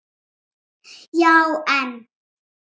Já, en.